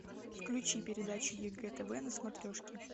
включи передачу егэ тв на смотрешке